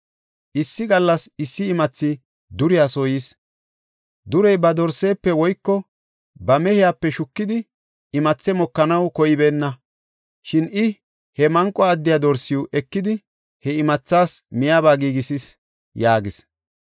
“Issi gallas issi imathi duriya soo yis. Durey ba dorsaafe woyko ba mehepe shukidi, imathe mokanaw koybeenna. Shin I he manqo addiya dorsiw ekidi, he imathaas miyaba giigisis” yaagis.